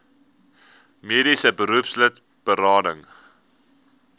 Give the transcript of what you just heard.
mediese beroepslid berading